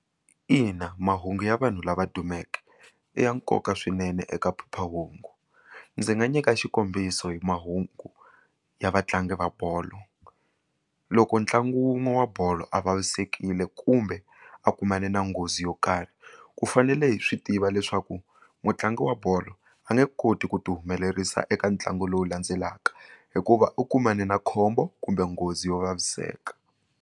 Ina, mahungu ya vanhu lava dumeke i ya nkoka swinene eka phephahungu ndzi nga nyika xikombiso hi mahungu ya vatlangi va bolo loko ntlangu wun'we wa bolo a vavisekile kumbe a kumane na nghozi yo karhi ku fanele hi swi tiva leswaku mutlangi wa bolo a nge koti ku ti humelerisa eka ntlangu lowu landzelaka hikuva u kumane na khombo kumbe nghozi yo vaviseka.